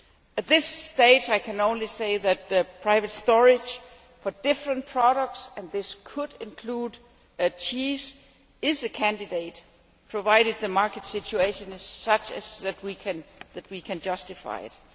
At this stage, I can only say that private storage for different products and this could include cheese is a candidate, provided that the market situation is such that we can justify it.